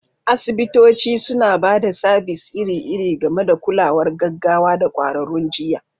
Asibitoci suna ba da sabis iri-iri, gami da kulawar gaggawa da ƙwararrun jiyya.